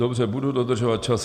Dobře, budu dodržovat čas.